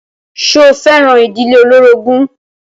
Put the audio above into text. Ṣo fẹ́ràn ìdílé olórogún?